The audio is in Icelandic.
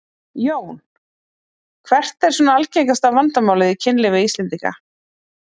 Jón: Hvert er svona algengasta vandamálið í kynlífi Íslendinga?